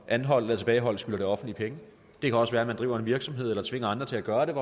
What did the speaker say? anholdt eller tilbageholdt skylder det offentlige penge det kan også være at man driver en virksomhed eller tvinger andre til at gøre det